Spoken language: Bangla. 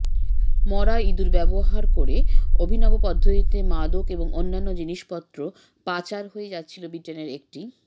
মরা ইঁদুর ব্যবহার করে অভিনব পদ্ধতিতে মাদক এবং অন্যান্য জিনিসপত্র পাচার হয়ে যাচ্ছিল ব্রিটেনের একটি